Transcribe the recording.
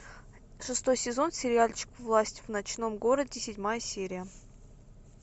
шестой сезон сериальчик власть в ночном городе седьмая серия